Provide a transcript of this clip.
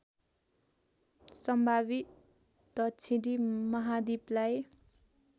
सम्भावित दक्षिणी महाद्वीपलाई